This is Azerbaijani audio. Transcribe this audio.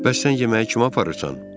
Bəs sən yeməyi kimə aparırsan?